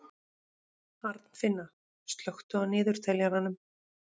Arnfinna, slökktu á niðurteljaranum.